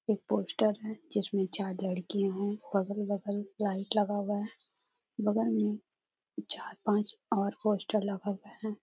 एक पोस्टर है जिसमे चार लड़कियां है बगल -बगल लाइट लगा हुआ है बगल में चार पाँच और पोस्टर लगा हुआ है।